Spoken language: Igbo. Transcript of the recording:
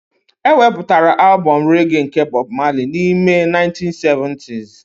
E wepụtara albọm rege nke Bob Marley n'ime 1970s